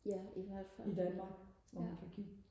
ja i hvert fald ja